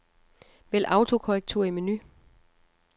Vælg autokorrektur i menu.